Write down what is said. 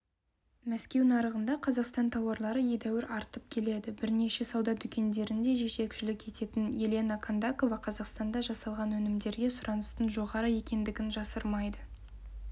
мәскеу нарығында қазақстан тауарлары едәуір артып келеді бірнеше сауда дүкендеріне жетекшілік ететін елена кондакова қазақстанда жасалған өнімдерге сұраныстың жоғары екендігін жасырмайды